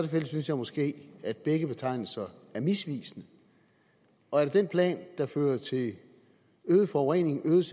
synes jeg måske at begge betegnelser er misvisende og er det den plan der fører til øget forurening øget